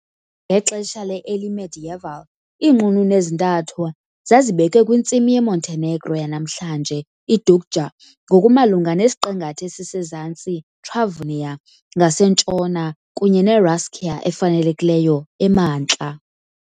Ngexesha le- Early Medieval, iinqununu ezintathu zazibekwe kwintsimi yeMontenegro yanamhlanje- iDuklja, ngokumalunga nesiqingatha esisezantsi, Travunia, ngasentshona, kunye neRascia efanelekileyo, emantla.